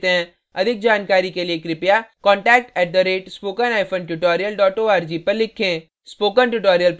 अधिक जानकारी के लिए contact at spoken hyphen tutorial dot org पर लिखें